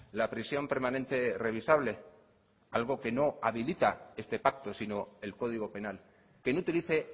la prisión permanente revisable algo que no habilita este pacto sino el código penal que no utilice